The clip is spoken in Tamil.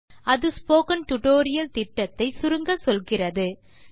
httpspoken tutorialorg அது ஸ்போக்கன் டியூட்டோரியல் திட்டத்தை சுருங்கச்சொல்கிறது